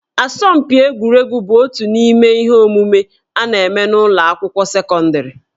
Asọmpi egwuregwu bụ otu n'ime ihe omume a na-eme n'ụlọ akwụkwọ sekọndịrị